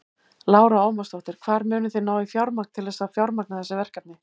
Lára Ómarsdóttir: Hvar munið þið ná í fjármagn til þess að fjármagna þessi verkefni?